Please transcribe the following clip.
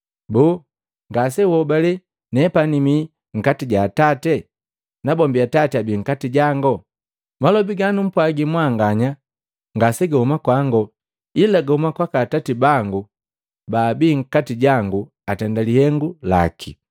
Boo, ngase uhobale nepani mii nkati ja Atate, na bombi atati abii nkati jango? Malobi ganumpwagi mwanganya ngasegahuma kwango, Ila gahuma kwaka Atati bangu baabi nkati jangu atenda lihengu laki.